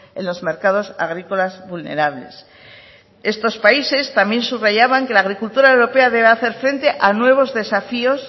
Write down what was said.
en los mercados agrícolas vulnerables estos países también subrayaban que la agricultura europea debe hacer frente a nuevos desafíos